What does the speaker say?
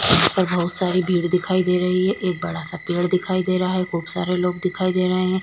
पर बहुत सारी भीड़ दिखाई दे रही है एक बड़ा सा पेड़ दिखाई दे रहा है खूब सारे लोग दिखाई दे रहे हैं।